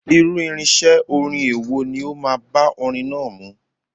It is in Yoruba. Irú irinṣẹ́ orin èwo ni ó máa bá orin náà mu?